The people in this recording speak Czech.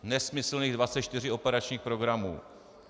Nesmyslných 24 operačních programů.